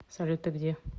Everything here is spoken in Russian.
салют ты где